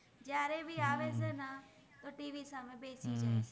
ફ઼ઇસ છે